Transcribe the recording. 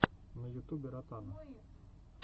на ютубе ротана